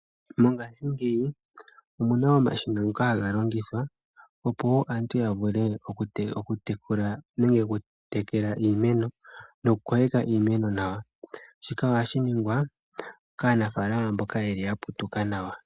Mongaashingeyi, omuna omashina ngoka haga longithwa opo wo aantu ya vule oku tekela noku kokeka iimeno nawa. Shika ohashi ningwa kaanafaalama mboka yeli ya putuka nawa.